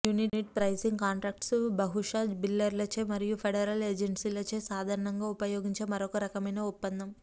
unit pricing contracts బహుశా బిల్డర్లచే మరియు ఫెడరల్ ఏజెన్సీలచే సాధారణంగా ఉపయోగించే మరొక రకమైన ఒప్పందం